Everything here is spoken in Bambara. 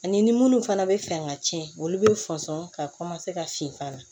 Ani munnu fana bɛ fɛ ka tiɲɛ olu bɛ fɔnsɔn ka ka fin fana